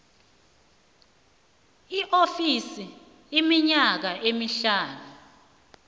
iofisi iminyaka emihlanu